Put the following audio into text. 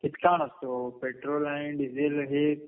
इतका नसतो. पेट्रोल आणि डिझेल हे